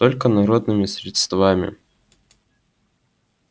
только народными средствами